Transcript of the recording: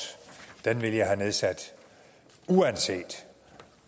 ville jeg have nedsat uanset